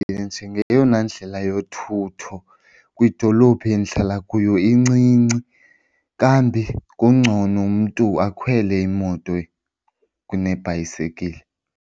Njengeyona ndlela yothutho kwidolophu endihlala kuyo incinci kambi kungcono mntu akhwele imoto kunebhayisikili.